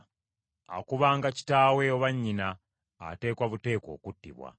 “Akubanga kitaawe oba nnyina, ateekwa buteekwa okuttibwa.